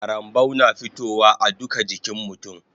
Karambau na fitowa a duka jikin mutun